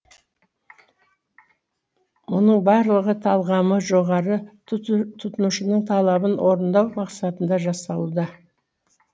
мұның барлығы талғамы жоғары тұтынушының талабын орындау мақсатында жасалуда